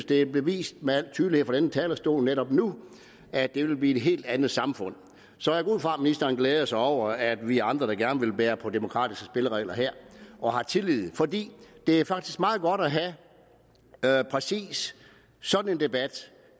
det er bevist med al tydelighed fra denne talerstol netop nu at det ville helt andet samfund så jeg går ud fra at ministeren glæder sig over at vi er andre der gerne vil bære på demokratiske spilleregler her og har tillid for det er faktisk meget godt at have præcis sådan en debat